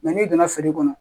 n'i donna feere kɔnɔ